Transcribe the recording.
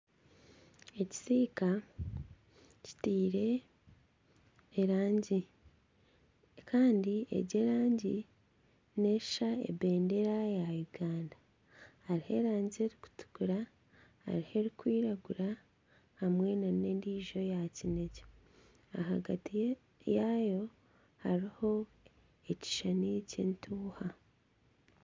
Ekisiika kitaire erangi kandi egi erangi neshusha ebendeera ya Uganda hariho rangi erikutukura hariho erikwiragura hamwe na n'endiijo eya kinekye ahagati yaayo hariho ekishushani ky'entuuha.